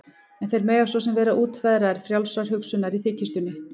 En þeir mega svo sem vera útverðir frjálsrar hugsunar- í þykjustunni.